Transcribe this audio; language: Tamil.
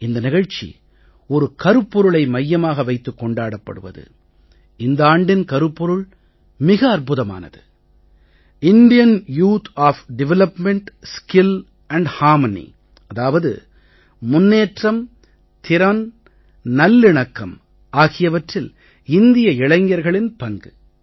இந்த நிகழ்ச்சி ஒரு கருப்பொருளை மையமாக வைத்து கொண்டாடப்படுவது இந்த ஆண்டின் கருப்பொருள் மிக அற்புதமானது Indian youth of development skill and harmony அதாவது முன்னேற்றம் திறன் மற்றும் நல்லிணக்கம் ஆகியவற்றில் இந்திய இளைஞர்களின் பங்கு